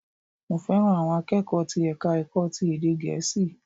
Mo fẹ́ràn àwọn akẹ́kọ̀ọ́ ti ẹ̀ka ẹ̀kọ́ ti ède gèésì